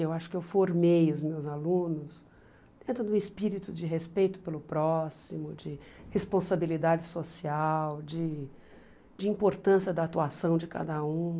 Eu acho que eu formei os meus alunos dentro do espírito de respeito pelo próximo, de responsabilidade social, de de importância da atuação de cada um.